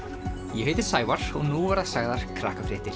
ég heiti Sævar og nú verða sagðar